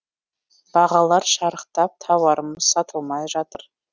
бағалар шарықтап тауарымыз сатылмай жатыр